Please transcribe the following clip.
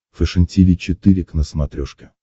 фэшен тиви четыре к на смотрешке